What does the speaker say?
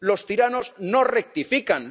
Los tiranos no rectifican.